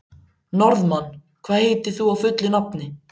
Norðmann, hvað heitir þú fullu nafni?